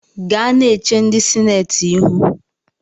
Gaa na-eche ndị sinetị ihu